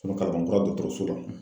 kalabankura dɔgɔtɔrɔso la.